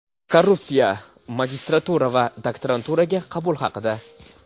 Korrupsiya, Magistratura va Daktaranturaga qabul haqida.